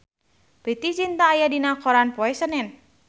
Preity Zinta aya dina koran poe Senen